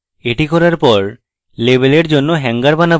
এটি করার পর label জন্য hanger বানাবো